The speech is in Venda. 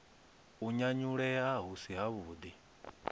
u nyanyulea hu si havhuḓi